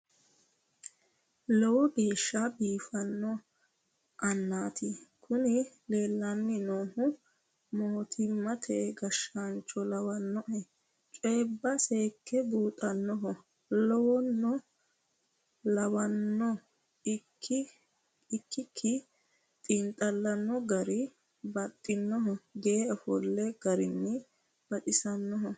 Lowo geeshsha biifano annati kuni leellani noohu mootimate gashshaancho lawanoe coyibba seekke buuxanoha lawano ikki xiinxallanni no gari baxxanoho ge"e ofolino garino baxisanoho.